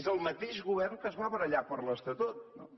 és el mateix govern que es va barallar per l’estatut no